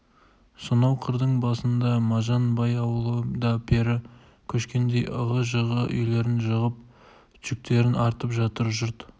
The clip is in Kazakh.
сонау қырдың басында мажан бай ауылы да пері көшкендей ығы-жығы үйлерін жығып жүктерін артып жатыр жұрт